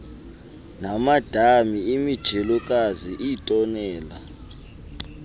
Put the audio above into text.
namadami imijelokazi iitonela